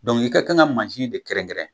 Dɔnku i ka kan ka mansin de kɛrɛnkɛrɛn